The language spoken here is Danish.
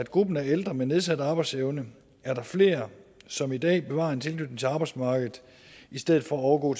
gruppen af ældre med nedsat arbejdsevne er der flere som i dag bevarer en tilknytning til arbejdsmarkedet i stedet for at overgå